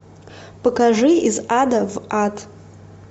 покажи из ада в ад